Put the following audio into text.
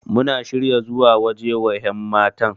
Muna shirya zuwa waje wa yanmatan.